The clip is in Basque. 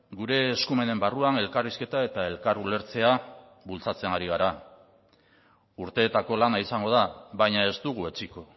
gure eskumenen barruan elkarrizketa eta elkar ulertzea bultzatzen ari gara urteetako lana izango da baina ez dugu etsiko